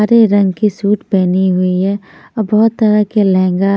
हरे रंग के सूट पहनी हुई है और बहुत तरह के लहंगा--